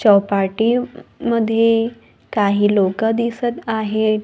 चौपाटी मध्ये काही लोकं दिसत आहेत.